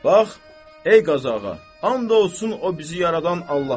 Bax, ey Qazı ağa, and olsun o bizi yaradan Allaha.